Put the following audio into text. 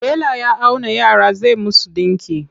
Tela ya auna yara zai musu ɗinki.